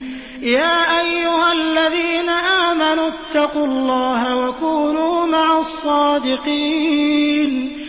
يَا أَيُّهَا الَّذِينَ آمَنُوا اتَّقُوا اللَّهَ وَكُونُوا مَعَ الصَّادِقِينَ